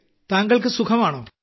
താങ്കൾക്ക് സുഖമാണോ